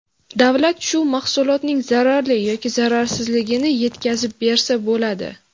Davlat shu mahsulotning zararli yoki zararsizligini yetkazib bersa bo‘ladi.